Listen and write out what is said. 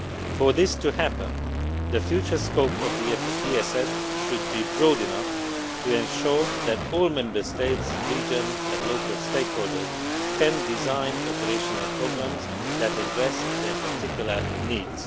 For this to happen, the future scope of the ESF should be broad enough to ensure that all Member States, regions and local stakeholders can design operational programmes that address their particular needs.